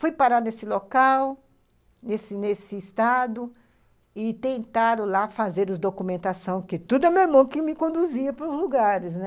Fui parar nesse local, nesse nesse estado, e tentaram lá fazer a documentação, que tudo é era o meu irmão que me conduzia para os lugares, né